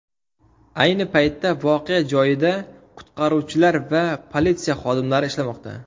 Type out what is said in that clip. Ayni paytda voqea joyida qutqaruvchilar va politsiya xodimlari ishlamoqda.